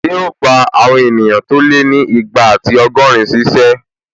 Ṣé o gbà àwọn èèyàn tó lé ní igba ati ọgọ́rin ṣíṣẹ́?